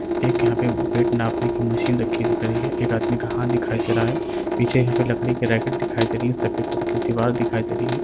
एक यहाँ पे बेट नापने की मशीन रखी दिख रही है। एक आदमी का हाथ दिखाई दे रहा है। पीछे यहाँ पे लकड़ी की रैकेट दिखाई दे रही हैं। सफ़ेद रंग की दीवाल दिखाई दे रही है।